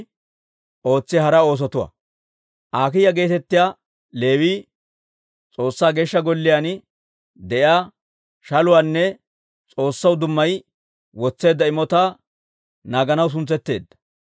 Akiiya geetettiyaa Leewii S'oossaa Geeshsha Golliyaan de'iyaa shaluwaanne S'oossaw dummayi wotseedda imotaa naaganaw suntsetteedda.